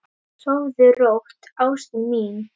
Sofðu rótt, ástin mín.